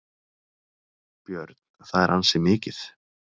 Björn: Það er ansi mikið?